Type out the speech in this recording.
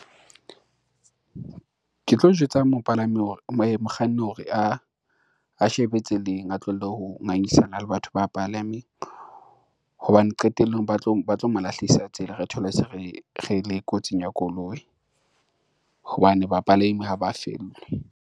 Ke tlo jwetsa mokganni hore a shebe tseleng, a tlohele ho ngangisana le batho ba palameng, hobane qetellong ba tlo mo lahlehisa tsela re thole se re le kotsing ya koloi hobane ba palami ha ba fellwe.